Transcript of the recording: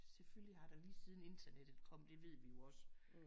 Selvfølgelig har der lige siden internettet kom det ved vi jo også